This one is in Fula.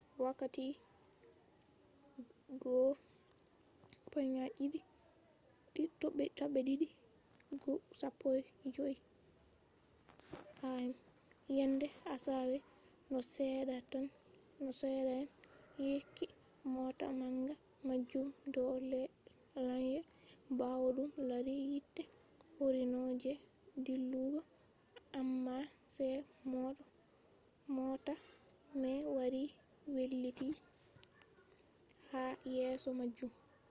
wakkati 1:15 a.m. yende asawe no seeda'en yecci mota manga majum do lanya bawo dum lari yite korino je dillugo amma sai mota mai wari wailiti ha yeso majum